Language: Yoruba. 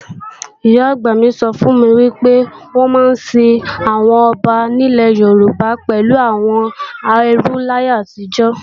Ìyá-àgbà mi sọ fún mi pé wọ́n máa ń sin àwọn ọba nílẹ̀ Yorùbá pẹ̀lú àwọn ẹrú láyé àtijọ́